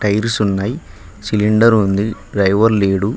Tiles ఉన్నాయ్ cylinder ఉంది driver లేడు.